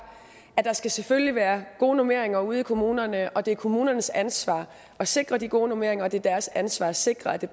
der skal selvfølgelig være gode normeringer ude i kommunerne det er kommunernes ansvar at sikre de gode normeringer og det er deres ansvar at sikre at det